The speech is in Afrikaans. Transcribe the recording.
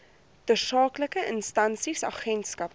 tersaaklike instansies agentskappe